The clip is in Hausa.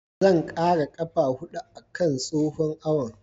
Zan ƙara ƙafa huɗu a kan tsohon awon.